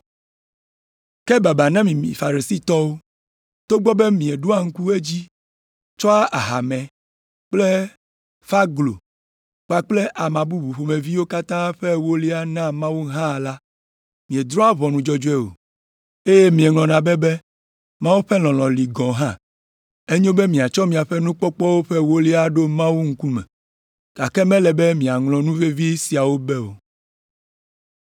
“Ke babaa na mi Farisitɔwo! Togbɔ be mieɖoa ŋku edzi tsɔa ahamɛ kple ƒãglo kpakple ama bubu ƒomeviwo katã ƒe ewolia naa Mawu hã la, miedrɔ̃a ʋɔnu dzɔdzɔe o, eye mieŋlɔna be be Mawu ƒe lɔlɔ̃ li gɔ̃ hã. Enyo be miatsɔ miaƒe nukpɔkpɔwo ƒe ewolia aɖo Mawu ŋkume, gake mele be miaŋlɔ nu vevi siawo be o.